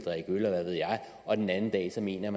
og den anden dag altså mener